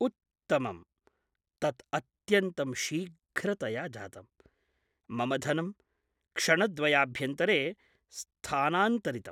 उत्तमम्। तत् अत्यन्तं शीघ्रतया जातम् । मम धनं क्षणद्वयाभ्यन्तरे स्थानान्तरितम्।